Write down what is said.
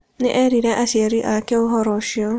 Nĩ eerire aciari ake ũhoro ũcio.